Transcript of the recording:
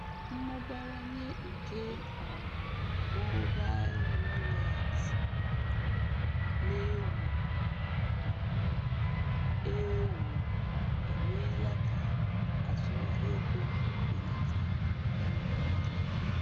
Mmụbawanye nke um mobail wọleetị na- ewu um ewu emeela ka azụmahịa ego belata na mba niile.